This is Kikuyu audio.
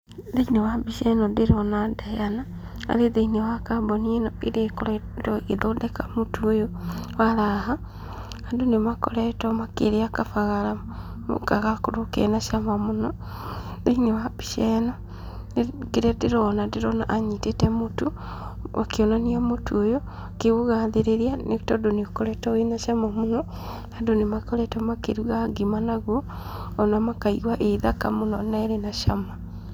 Thĩiniĩ wa mbica ĩno ndĩrona Diana, arĩ thĩiniĩ wa kambuni ĩno ĩrĩa ĩkoretwo ĩgĩthondeka mũtu ũyũ wa raha. Andũ nĩmakoretwo makĩrĩa kabagara no gakorwo kena cama mũno. Thĩiniĩ wa mbica ĩno kĩrĩa ndĩrona ndĩrona anyitĩte mũtu, akĩonania mũtu ũyũ akĩũgathĩrĩria, nĩ tondũ nĩũkoretwo wĩ na cama mũno, andũ nĩmakoretwo makĩruga ngima nagwo ona makaigua ĩĩ thaka mũno na ĩrĩ na cama.